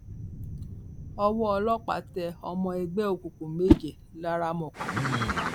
owó ọlọpàá tẹ ọmọ ẹgbẹ òkùnkùn méje laramọkọ